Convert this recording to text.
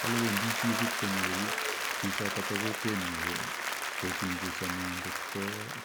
Kolechii wendi ipkonyoru chichotok bo kwokwenyii ipkochungusonii ngot